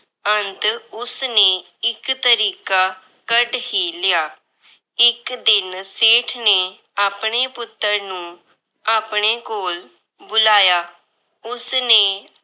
ਅੰਤ ਉਸਨੇ ਇੱਕ ਤਰੀਕਾ ਕੱਢ ਹੀ ਲਿਆ। ਇੱਕ ਦਿਨ ਸੇਠ ਨੇ ਆਪਣੇ ਪੁੱਤਰ ਨੂੰ ਆਪਣੇ ਕੋਲ ਬੁਲਾਇਆ। ਉਸਨੇ